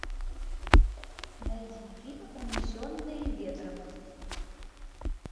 найди фильм унесенные ветром